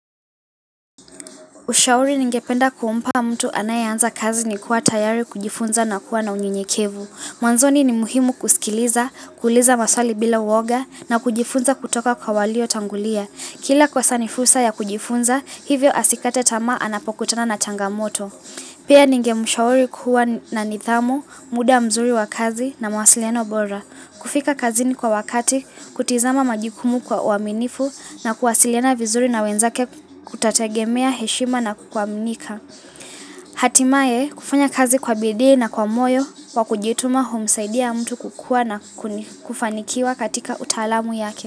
Ushauri ningependa kumpa mtu anayeanza kazi ni kuwa tayari kujifunza na kuwa na unyenyekevu. Mwanzoni ni muhimu kusikiliza, kuuliza maswali bila uoga na kujifunza kutoka kwa walio tangulia. Kila kosa nifursa ya kujifunza, hivyo asikate tamaa anapokutana na changamoto. Pia ningemshauri kuwa na nidhamu, muda mzuri wa kazi na mawasiliano bora. Kufika kazini kwa wakati, kutizama majukumu kwa uaminifu na kuwasiliana vizuri na wenzake kutategemea heshima na kuaminika. Hatimae kufanya kazi kwa bidii na kwa moyo wa kujituma humsaidia mtu kukua na kuni kufanikiwa katika utaalamu yake.